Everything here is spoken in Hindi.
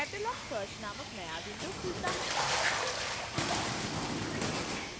catalog search नामक नया window खुलता है